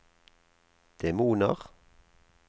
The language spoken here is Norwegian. demoner